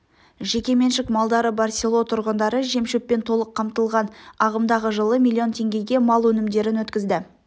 жеке меншік малдары бар село тұрғындары жем-шөппен толық қамтылғын ағымдағы жылы млн теңгеге мал өнімдерін өткізді